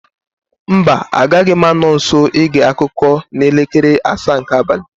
Mba, agaghị m anọ nso ige akụkọ n'elekere asaa nke abalị